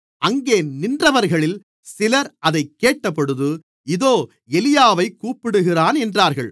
அங்கே நின்றவர்களில் சிலர் அதைக் கேட்டபொழுது இதோ எலியாவைக் கூப்பிடுகிறான் என்றார்கள்